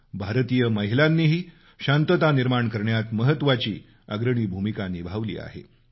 भारतीय महिलांनीही शांतता निर्माण करण्यात महत्वाची अग्रणी भूमिका निभावली आहे